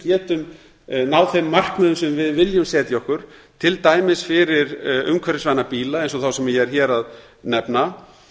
getum náð þeim markmiðum sem við viljum setja okkur til dæmis fyrir umhverfisvæna bíla eins og þá sem ég er hér að nefna